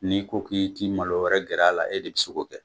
N'i ko k'i t'i malo wɛrɛ gɛrɛ a la e de bi se k'o kɛ.